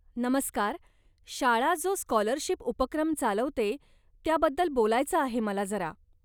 नमस्कार, शाळा जो स्कॉलरशिप उपक्रम चालवते, त्याबद्दल बोलायचं आहे मला जरा.